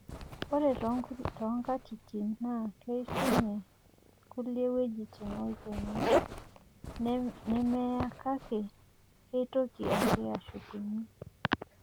ore too nkatitin naa, keishunye kulie wuejitin olchoni nemeya kake keitoki ake aashukunye